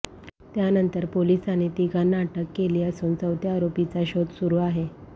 त्यांतर पोलिसांनी तिघांना अटक केली असून चौथ्या आरोपीचा शोध सुरू आहे